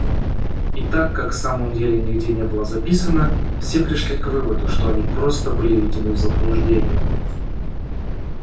и так как в самом деле нигде не было записано все пришли к выводу что они просто были введены в заблуждение